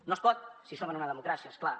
no es pot si som en una democràcia és clar